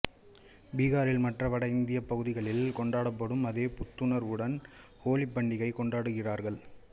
பீகாரில் மற்ற வட இந்தியப் பகுதிகளில் கொண்டாடப்படும் அதே புத்துணர்வுடன் ஹோலிப் பண்டிகையைக் கொண்டாடுகிறார்கள்